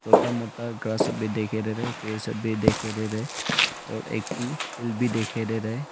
छोटा मोटा घास भी दिखाई दे रहा है पेड़ सब भी दिखाई दे रहा है और एक ठो भी दिखाई दे रहा है।